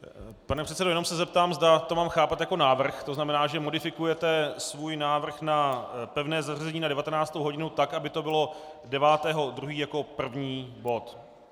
Pane předsedo, jenom se zeptám, zda to mám chápat jako návrh, to znamená, že modifikujete svůj návrh na pevné zařazení na 19. hodinu tak, aby to bylo 9. 2. jako první bod.